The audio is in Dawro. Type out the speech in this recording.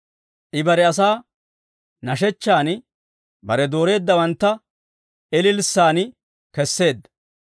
I bare asaa nashshechchan, bare dooreeddawantta ililssan kesseedda.